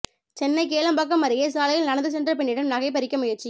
சென்னை கேளம்பாக்கம் அருகே சாலையில் நடந்த சென்ற பெண்ணிடம் நகை பறிக்க முயற்சி